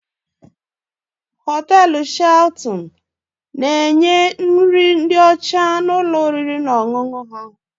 Hoteelu Shelton na-enye nri ndị ọcha na ụlọ oriri na ọṅụṅụ ha.